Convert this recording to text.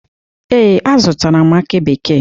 Ee, azụtara m akị bekee.